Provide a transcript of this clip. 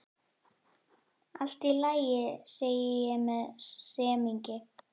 Allt í lagi, segi ég með semingi.